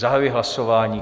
Zahajuji hlasování.